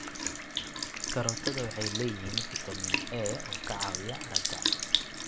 Karootada waxay leeyihiin fitamiin A oo ka caawiya aragga.